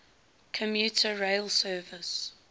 commuter rail service